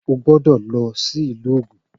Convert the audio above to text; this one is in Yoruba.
O gbọ́dọ̀ lọ sí ìlú Ògùn